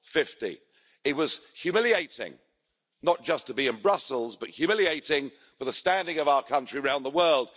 50. It was humiliating, not just to be in Brussels, but humiliating for the standing of our country around the world.